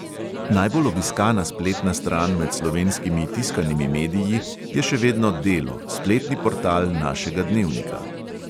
Najbolj obiskana spletna stran med slovenskimi tiskanimi mediji je še vedno delo, spletni portal našega dnevnika.